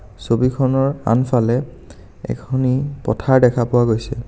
ছবিখনৰ আনফালে এখনি পথাৰ দেখা পোৱা গৈছে.